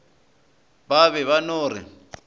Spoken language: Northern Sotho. ba be ba no re